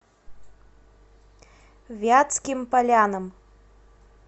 вятским полянам